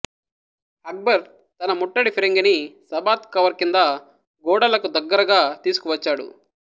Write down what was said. అక్బర్ తన ముట్టడి ఫిరంగిని సబాత్ కవర్ కింద గోడలకు దగ్గరగా తీసుకువచ్చాడు